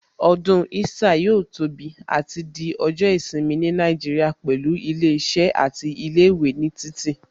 Ọdún Easter yóò tóbi àti di ọjọ́ ìsinmi ní Nàìjíríà pẹ̀lú ilé iṣẹ́ àti ilé ìwé ní títì